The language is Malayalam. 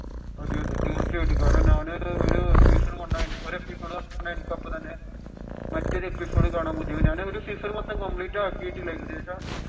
തീർച്ചയായിട്ടും കാരണം ഞാൻ ഒരു സീസൺ ഒരു എപ്പിസോഡ് കണ്ടു കഴിഞ്ഞിട്ട് അപ്പോൾ തന്നെ മറ്റൊരു എപ്പിസോഡ് കാണാൻ ഞാൻ ഒരു സീസൺ മൊത്തം ആകിയിട്ടില്ല അതിനു ശേഷം